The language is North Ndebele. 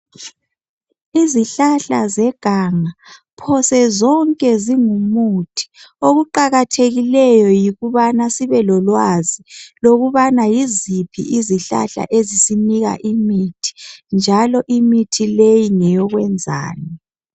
Izihlahla zeganga, phose zonke zingumuthi okuqakathekileyo yikubana sibe lolwazi lokubana yiziphi izihlahla ezisinika imithi njalo imithi leyi ngeyokwenzani